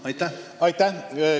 Aitäh!